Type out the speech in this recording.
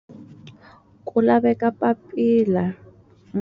Ku laveka papila.